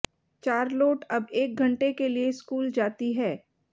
Charlotte अब एक घंटे के लिए स्कूल जाती है